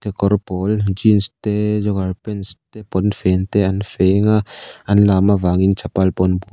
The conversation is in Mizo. kawr pawl jeans te jogger pants te pawnfen te an feng a an lam avangin chapal pawh an bu --